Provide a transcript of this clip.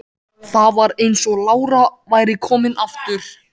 Þá var eins og lára væri komin aftur.